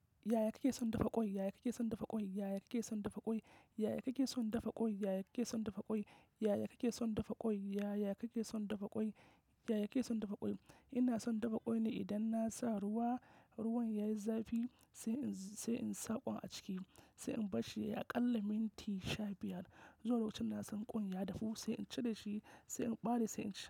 Yaya kake son dafa ƙwai? Yaya kake son dafa ƙwai? Yaya kake son dafa ƙwai? Yaya kake son dafa ƙwai? Yaya kake son dafa ƙwai? Yaya kake son dafa ƙwai? Yaya kake son dafa ƙwai? Yaya kake son dafa ƙwai? Ina son dafa ƙwai ne idan na sa ruwa, ruwan yayi zafi sai in, sai in sa ƙwai a ciki, sai in barshi ya a ƙalle minti sha biyar. Zuwa lokacin na san ƙwan ya dafu sai in cire shi, sai in ɓare, sai in ci.